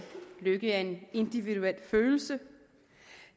lykke er en individuel følelse